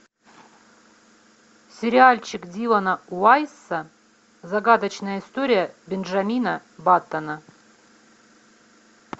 сериальчик дилана уайсса загадочная история бенджамина баттона